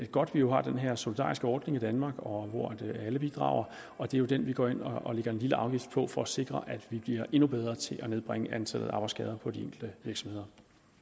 godt at vi jo har den her solidariske ordning i danmark hvor alle bidrager og det er den vi går ind og lægger en lille afgift på for at sikre at vi bliver endnu bedre til at nedbringe antallet af arbejdsskader på de enkelte virksomheder